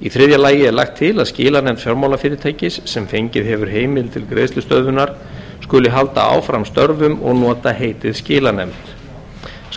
í þriðja lagi er lagt til að skilanefnd fjármálafyrirtækis sem fengið hefur heimild til greiðslustöðvunar skuli halda áfram störfum og nota heitið skilanefnd